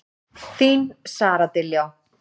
Þín Sara Diljá.